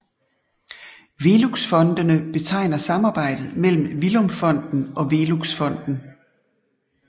Veluxfondene betegner samarbejdet mellem Villum Fonden og Velux Fonden